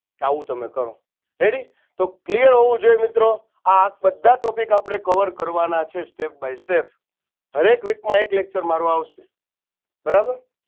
કે આવું તમે કરો ready તો clear હોવું જોઈએ મિત્રો આ બધા topic આપણે cover કરવાના છે step by step હરે એક week માં એક lecture મારવા આવશો બરાબર